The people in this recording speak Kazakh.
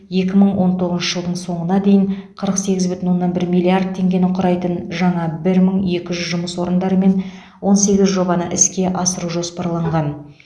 екі мың он тоғызыншы жылдың соңына дейін қырық сегіз бүтін оннан бір миллиард теңгені құрайтын жаңа бір мың екі жүз жұмыс орындарымен он сегіз жобаны іске асыру жоспарланған